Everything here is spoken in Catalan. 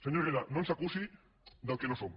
senyor herrera no ens acusi del que no som